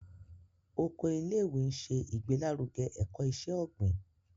Oko ilé-ìwé nṣe igbelaruge ẹkọ iṣẹ-ogbin.